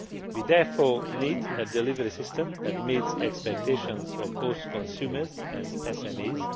best. We therefore need a delivery system that meets the expectations of both consumers and